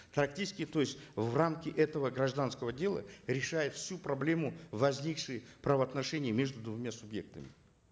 то есть в этого гражданского дела решает всю проблему возникших правоотношений между двумя субъектами